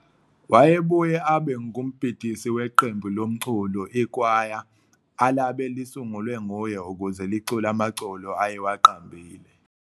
Wayebuye abe ngumbhidisi weqembu lomculo, "ikwaya", alabe lisungulwe nguye ukuze licule amaculo ayewaqambile.